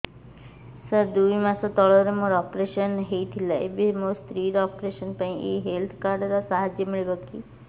ସାର ଦୁଇ ମାସ ତଳରେ ମୋର ଅପେରସନ ହୈ ଥିଲା ଏବେ ମୋ ସ୍ତ୍ରୀ ର ଅପେରସନ ପାଇଁ ଏହି ହେଲ୍ଥ କାର୍ଡ ର ସାହାଯ୍ୟ ମିଳିବ କି